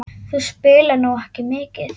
Þú spilaðir nú ekki mikið?